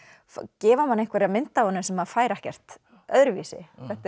gefa manni einhverja mynd af honum sem maður fær ekkert öðruvísi